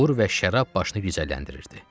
Uğur və şərab başını gicəlləndirirdi.